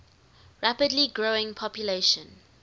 rapidly growing population